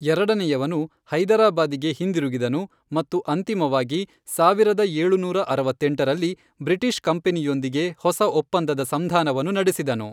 ಎರಡನೆಯವನು ಹೈದರಾಬಾದಿಗೆ ಹಿಂದಿರುಗಿದನು ಮತ್ತು ಅಂತಿಮವಾಗಿ ಸಾವಿರದ ಏಳುನೂರ ಅರವತ್ತೆಂಟರಲ್ಲಿ, ಬ್ರಿಟಿಷ್ ಕಂಪನಿಯೊಂದಿಗೆ ಹೊಸ ಒಪ್ಪಂದದ ಸಂಧಾನವನ್ನು ನಡೆಸಿದನು.